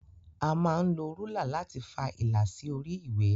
A máa ń lo rúlà láti fa ìlà sí orí ìwé.